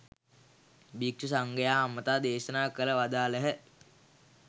භික්ෂු සංඝයා අමතා දේශනා කර වදාළහ.